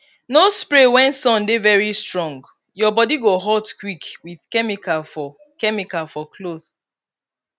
no spray when sun dey very strongyour body go hot quick with chemical for chemical for cloth